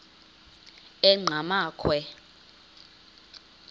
enqgamakhwe